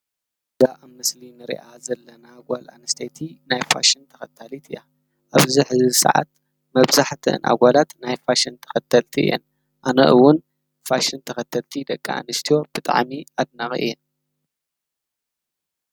እዛ ኣብ ምስሊ ንሪኣ ዘለና ጓል ኣነስተይቲ ናይ ፋሽን ተከታሊት እያ ። ኣብዚ ሕዚ ሰዓት መብዛሒቲኣን ኣጓላት ናይ ፋሽን ተኸተልቲ እየን። ኣነ እውን ፋሽን ተኸተልቲ ደቂ ኣንስትዮ ብጣዓሚ ኣድናቒ እየ።